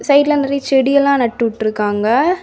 சைடுல நெறைய செடி எல்லா நட்டு உட்டுருக்காங்க.